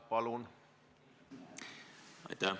Palun!